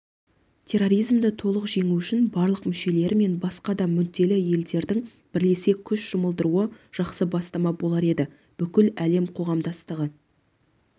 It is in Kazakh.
терроризмді толық жеңу үшін барлық мүшелері мен басқа да мүдделі елдердің бірлесе күш жұмылдыруы жақсы бастама болар еді бүкіл әлем қоғамдастығы